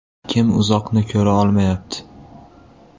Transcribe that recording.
Kim uzoqni ko‘ra olmayapti?